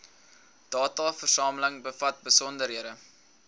dataversameling bevat besonderhede